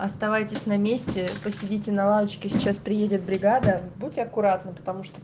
оставайтесь на месте посидите на лавочке сейчас приедет бригада будьте аккуратны потому что